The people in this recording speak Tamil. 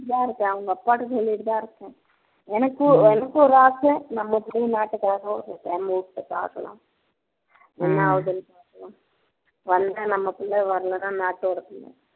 இருக்கேன் அவங்க அப்பா கிட்ட சொல்லிட்டு தான் இருக்கேன் எனக்கு எனக்கு ஒரு ஆசை நம்ம பையன் நாட்டுக்காக ஒரு time விட்டு பார்க்கணும் என்ன ஆகுதுன்னு பார்க்கணும் வந்தா நம்ம பிள்ளை வரலன்னா நட்டோட பிள்ளை